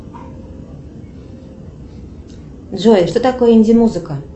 джой что такое инди музыка